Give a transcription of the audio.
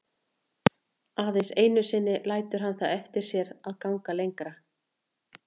Aðeins einu sinni lætur hann það eftir sér að ganga lengra.